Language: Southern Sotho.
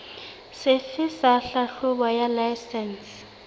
sefe sa tlhahlobo ya laesense